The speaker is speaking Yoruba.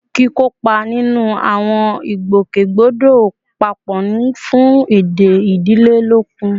Kíkópa nínú àwọn ìgbòkègbodò papọ̀ ń fún ìdè ìdílé lókun